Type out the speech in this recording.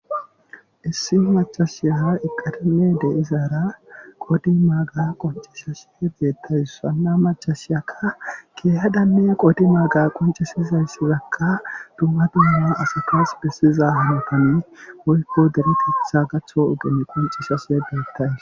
Issi macashiya iqadime de'izaara qodi maaga qoncishashe beettays sanna machashiyaka keehadanne qodi maaga qoncesizayssizakka dumma duuma asatas bessiza hanotanne woyko deretetha gaththo ogeni qoncishase beettays.